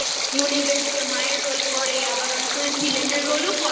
মানে বেশ Role করে আবারঅনেক সময় Villain এর Role ও করে